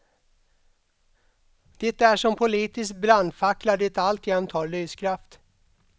Det är som politisk brandfackla det alltjämt har lyskraft.